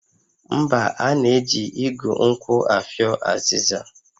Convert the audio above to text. Mba, a na-eji igu nkwụ afịọ azịza